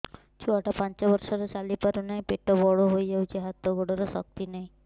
ଛୁଆଟା ପାଞ୍ଚ ବର୍ଷର ଚାଲି ପାରୁନାହଁ ପେଟ ବଡ ହୋଇ ଯାଉଛି ହାତ ଗୋଡ଼ର ଶକ୍ତି ନାହିଁ